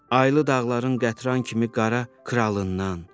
Aylı dağların qatran kimi qara kralından.